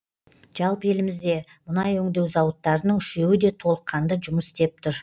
жалпы елімізде мұнай өңдеу зауыттарының үшеуі де толыққанды жұмыс істеп тұр